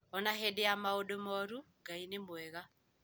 O na hĩndĩ ya maũndũ moru, Ngai nĩ mwega